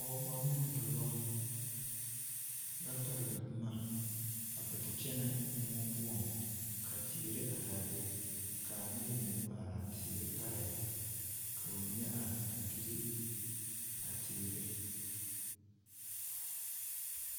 Pɔgeba ne dɔba la pɛgle boma a kpɛ te kyɛnɛ moɔ poɔŋ ka teere are a be ka a noba mine kpɛ te are a teere parɛɛŋ ka ba mine meŋ are a gyili teere.